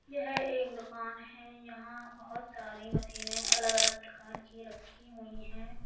यह एक दुकान है यहां बहुत सारी मशीनें अलग अलग प्रकार की रखी हुई है।